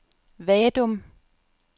Vadum